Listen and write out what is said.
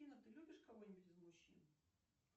афина ты любишь кого нибудь из мужчин